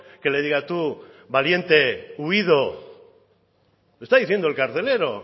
que le diga tú valiente huido lo está diciendo el carcelero